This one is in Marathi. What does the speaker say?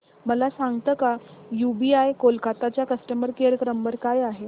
मला सांगता का यूबीआय कोलकता चा कस्टमर केयर नंबर काय आहे